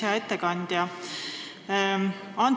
Hea ettekandja!